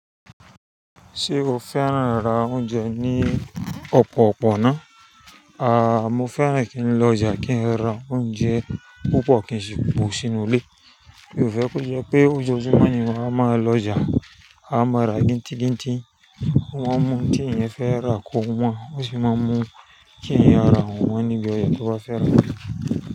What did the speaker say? Ṣé o fẹ́ràn rá oúnjẹ ní ọ̀pọ̀ ọ̀pọ̀ náà? Àá, mo fẹ́ràn kí n lọ ọjà kí n ra oúnjẹ púpọ̀ kí n sì bu sínú ilé. Mi ò fẹ́ kó jẹ́ pé ójoojúmọ́ ni ma wáa má lọ ọjà. A máa ra gintìgintì, wọ́n máa mú tí eyan fẹ́ rà kó wọn wá, ó sì máa mú tí eyan á rà wọ́n níbi ọjà tí wàá fẹ́ rà.